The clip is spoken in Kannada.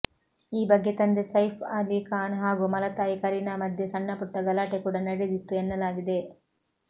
ಈ ಬಗ್ಗೆ ತಂದೆ ಸೈಫ್ ಅಲಿ ಖಾನ್ ಹಾಗೂ ಮಲತಾಯಿ ಕರೀನಾ ಮಧ್ಯೆ ಸಣ್ಣಪುಟ್ಟ ಗಲಾಟೆ ಕೂಡ ನಡೆದಿತ್ತು ಎನ್ನಲಾಗಿದೆ